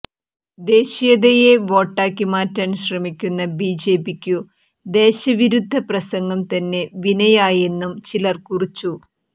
ദേശീയതയെ വോട്ടാക്കി മാറ്റാൻ ശ്രമിക്കുന്ന ബിജെപിക്കു ദേശവിരുദ്ധ പ്രസംഗം തന്നെ വിനയായെന്നും ചിലർ കുറിച്ചു